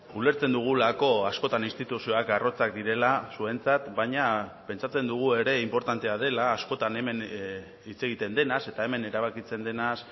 ulertzen dugulako askotan instituzioak arrotzak direla zuentzat baina pentsatzen dugu ere inportantea dela askotan hemen hitz egiten denaz eta hemen erabakitzen denaz